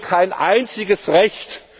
Wir verlieren kein einziges Recht.